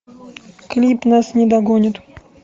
клип нас не догонят